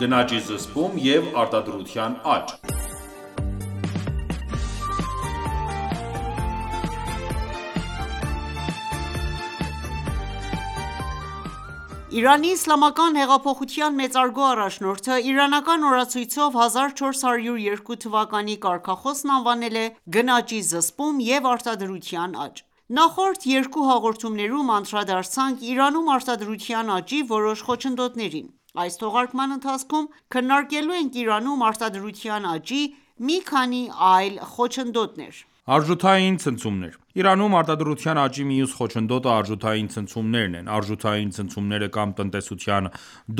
գնաճի զսպում և արտադրության աճ(22) ԻԻՀ մեծարգո առաջնորդը իրանական օրացույցով 1402 թվականի կարգախոսն անվանել է «Գնաճի զսպում և արտադրության աճ»: Նախորդ երկու հաղորդումներում անդրադարձանք Իրանում արտադրության աճի որոշ խոչընդոտներին։ Այս թողարկման ընթացքում քննարկելու ենք Իրանում արտադրության աճի մի քանի այլ խոչընդոտներ։ Արժութային ցնցումներ Իրանում արտադրության աճի մյուս խոչընդոտը արժութային ցնցումներն են։ Արժութային ցնցումները կամ տնտեսության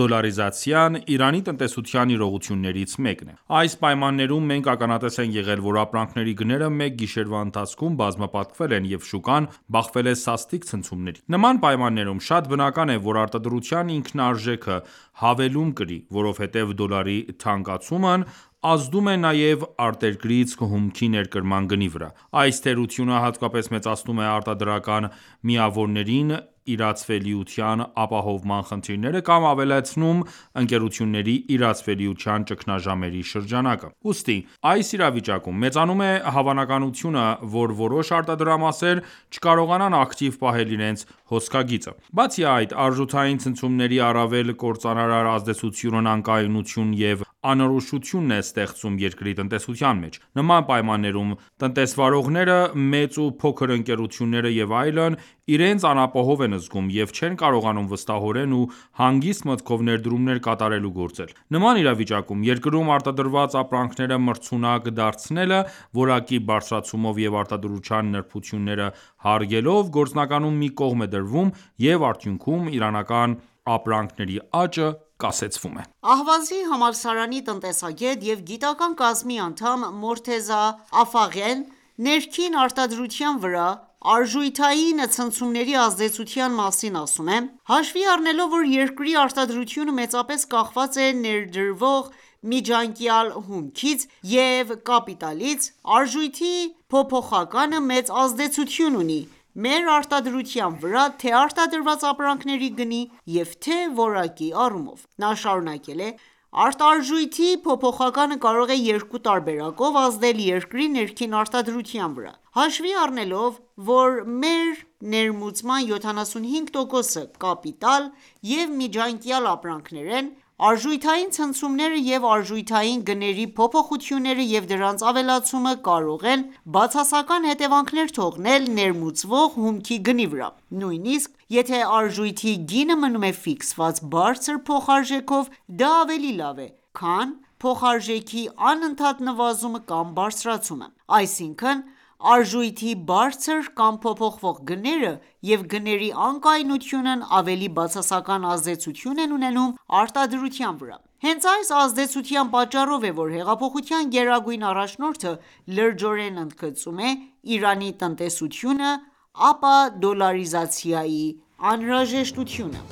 դոլարիզացիան, Իրանի տնտեսության իրողություններից մեկն է։Այս պայմաններում մենք ականատես ենք եղել ,որ ապրանքների գները մեկ գիշերվա ընթացքում բազմապատկվել են, և շուկան բախվել է սաստիկ ցնցումների։ Նման պայմաններում շատ բնական է, որ արտադրության ինքնարժեքը հավելում կրի, որովհետեւ դոլարի թանկացումն ազդում է նաեւ արտերկրից հումքի ներկրման գնի վրա։ Այս թերությունը հատկապես մեծացնում է արտադրական միավորներին իրացվելիության ապահովման խնդիրները կամ ավելացնում ընկերությունների իրացվելիության ճգնաժամերի շրջանակը։ Ուստի այս իրավիճակում մեծանում է հավանականությունը, որ որոշ արտադրամասեր չկարողանան ակտիվ պահել իրենց հոսքագիծը։ Բացի այդ արժութային ցնցումների առավել կործանարար ազդեցությունն անկայունություն և անորոշություն է ստեղծում երկրի տնտեսության մեջ: Նման պայմաններում, տնտեսվաողները, մեծ ու փոքր ընկերությունները, և այլն, իրենց անապահով են զգում և չեն կարողանում վստահորեն ու հանգիստ մտքով ներդրումներ կատարել ու գործել։ Նման իրավիճակում երկրում արտադրված ապրանքները մրցունակ դարձնելը՝ որակի բարձրացումով և արտադրության նրբությունները հարգելով, գործնականում մի կողմ է դրվում, և արդյունքում իրանական ապրանքների աճը կասեցվում է։ Ահվազի համալսարանի տնտեսագետ և գիտական կազմի անդամ Մորթեզա Աֆաղեն ներքին արտադրության վրա արժութային ցնցումների ազդեցության մասին ասում է։.« Հաշվի առնելով, որ երկրի արտադրությունը մեծապես կախված է ներկրվող միջանկյալ հումքից և կապիտալից, արժույթի փոփոխականը մեծ ազդեցություն ունի մեր արտադրության վրա թե՛ արտադրված ապրանքների գնի, և թե՛ որակի առումով»։ Նա շարունակել է.« Արտարժույթի փոփոխականը կարող է երկու տարբերակով ազդել երկրի ներքին արտադրության վրա: Հաշվի առնելով, որ մեր ներմուծման 75% -ը կապիտալ եւ միջանկյալ ապրանքներ են, արժութային ցնցումները եւ արժութային գների փոփոխությունները եւ դրանց ավելացումը կարող են բացասական հետեւանքներ թողնել ներմուծվող հումքի գնի վրա: Նույնիսկ եթե արժույթի գինը մնում է ֆիքսված բարձր փոխարժեքով, դա ավելի լավ է, քան փոխարժեքի անընդհատ նվազումը կամ բարձրացումը։ Այսինքն արժույթի բարձր կամ փոփոխվող գները, և գների անկայունությունն ավելի բացասական ազդեցություն են ունենում արտադրության վրա։ Հենց այս ազդեցության պատճառով է, որ հեղափոխության գերագույն առաջնորդը լրջորեն ընդգծում է Իրանի տնտեսությունը ապադոլարիզացիայի անհրաժեշտությունը։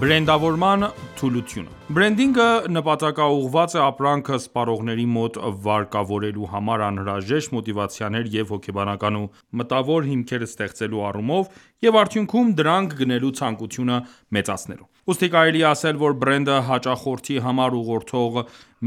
Բրենդավորման թուլությունը Բրենդինգը նպատակաուղղված է ապրանքը սպառողների մոտ վարկավորելու համար անհրաժեշտ մոտիվացիաներ և հոգեբանական ու մտավոր հիմքեր ստեղծելու առումով և արդյունքում՝ դրանք գնելու ցանկությունը մեծացնելուն: Ուստի կարելի է ասել, որ բրենդը հաճախորդի համար ուղղորդող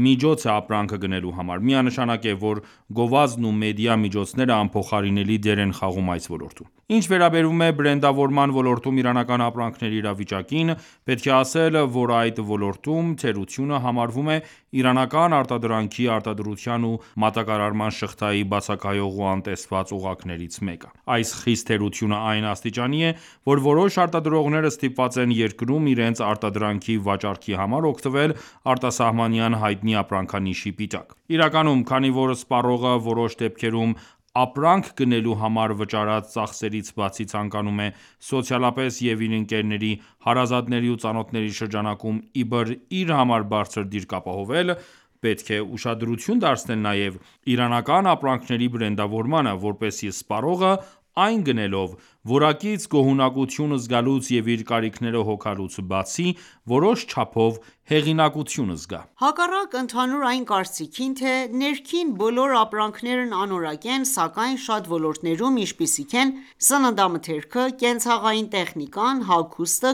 միջոց է ապրանքը գնելու համար ։ Միանշանակ է, որ գովազդն ու մեդիա միջոցները անփոխարինելի դեր են խաղում այս ոլորտում։ Ինչ վերաբերում է բրենդավորման ոլորտում իրանական ապրանքների իրավիճակին, պետք է ասել, որ, այդ ոլորտում թերությունը համարվում է՝ իրանական արտադրանքի արտադրության ու մատակարարման շղթայի բացակայող ու անտեսված օղակներից մեկը։ Այս խիստ թերությունը այն աստիճանի է, որ որոշ արտադրողներ ստիպված են երկրում իրենց արտադրանքի վաճառքի համար օգտվել արտասահմանյան հայտնի ապրանքանիշի պիտակ: Իրականում, քանի որ սպառողը որոշ դեպքերում, ապրանք գնելու համար վճարած ծախսերից բացի, ցանկանում է սոցիալապես և իր ընկերների, հարազատների ու ծանոթների շրջանակում ,իբր իր համար բարձր դիրք ապահովել, պետք է ուշադրություն դարձնել նաև իրանական ապրանքների բրենդավորմանը, որպեսզի սպառողը, այն գնելով, որակից գոհունակություն զգալուց և իր կարիքները հոգալուց բացի, որոշ չափով հեղինակություն զգա։ Հակառակ ընդհանուր այն կարծիքին թե՝ ներքին բոլոր ապրանքներն անորակ են, սակայն շատ ոլորտներում, ինչպիսիք են՝ սննդամթերքը, կենցաղային տեխնիկան, հագուստը,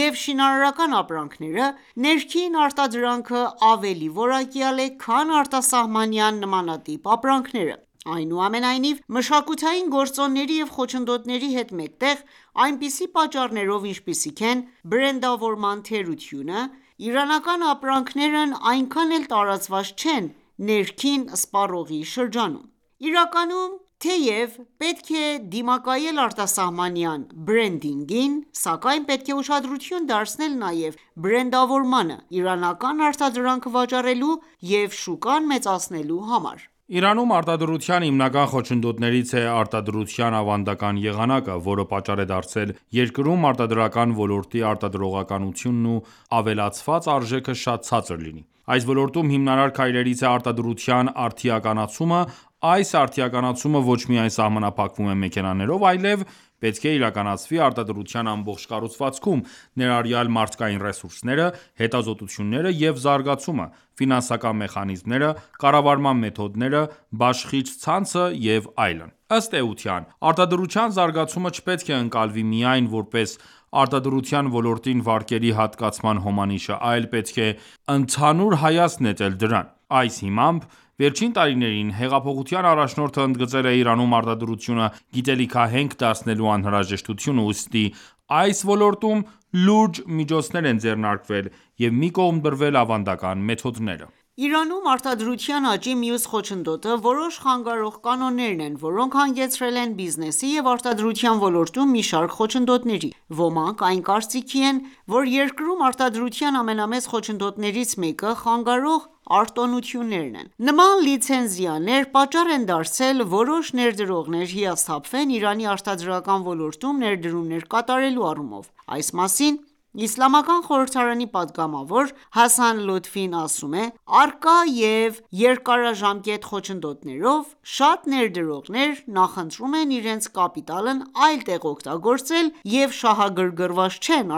կոշիկը և շինարարական ապրանքները, ներքին արտադրանքը ավելի որակյալ է, քան արտասահմանյան նմանատիպ ապրանքները: Այնուամենայնիվ, մշակութային գործոնների և խոչընդոտների հետ մեկտեղ, այնպիսի պատճառներով, ինչպիսիք են բրենդավորման թերությունը, իրանական ապրանքներն այնքան էլ տարածված չեն ներքին սպառողների շրջանում: Իրականում, թեև պետք է դիմակայել արտասահմանյան բրենդինգին, սակայն պետք է ուշադրություն դարձնել նաև բրենդավորմանը՝ իրանական արտադրանքը վաճառելու և շուկան մեծացնելու համար։ Իրանում արտադրության հիմնական խոչընդոտներից է արտադրության ավանդական եղանակը, որը պատճառ է դարձել երկրում արտադրական ոլորտի արտադրողականությունն ու ավելացված արժեքը շատ ցածր լինի։ Այս ոլորտում հիմնարար քայլերից է արտադրության արդիականացումը, այս արդիականացումը ոչ միայն սահմանափակվում է մեքենաներով, այլեւ պետք է իրականացվի արտադրության ամբողջ կառուցվածքում, ներառյալ մարդկային ռեսուրսները, հետազոտությունները եւ զարգացումը, ֆինանսական մեխանիզմները, կառավարման մեթոդները, բաշխիչ ցանցը եւ այլն: Ըստ էության, արտադրության զարգացումը չպետք է ընկալվի միայն ,որպես արտադրության ոլորտին վարկերի հատկացման հոմանիշը, այլ պետք է ընդհանուր հայացք նետել դրան: Այս հիմամբ, վերջին տարիներին հեղափոխության առաջնորդը ընդգծել է ՝Իրանում արտադրությունը գիտելիքահենք դարձնելու անհրաժեշտությունը, ուստի այս ոլորտում լուրջ միջոցներ են ձեռնարկվել եւ մի կողմ դրվել ավանդական մեթոդները: Իրանում արտադրության աճի մյուս խոչընդոտը որոշ խանգարող կանոններն են, որոնք հանգեցրել են բիզնեսի և արտադրության ոլորտում մի շարք խոչընդոտների: Ոմանք այն կարծիքի են, որ երկրում արտադրության ամենամեծ խոչընդոտներից մեկը խանգարող արտոնություններն են: Նման լիցենզիաներ պատճառ են դարձել որոշ ներդրողներ հիասթափվեն Իրանի արտադրական ոլորտում ներդրումներ կատարելու առումով:Այս մասին Իսլամական խորհրդարանի պատգամավոր Հասան Լոթֆին ասում է.« Առկա և երկարաժամկետ խոչընդոտներով, շատ ներդրողներ նախընտրում են իրենց կապիտալն այլ տեղ օգտագործել և շահագրգռված չեն